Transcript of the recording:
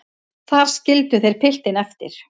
Þar skildu þeir piltinn eftir.